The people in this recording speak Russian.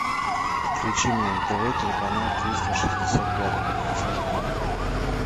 включи мне на тв телеканал триста шестьдесят пятый